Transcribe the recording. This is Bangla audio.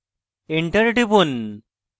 enter টিপুন